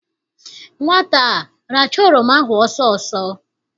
Nwata a rachaa oroma ahụ ọsọ ọsọ!